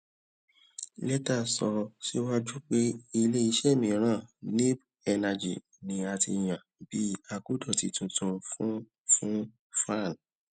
leta sọ síwájú pé ilé isẹ miran neeb energy ni a ti yan bí akodoti tuntun fún fún faan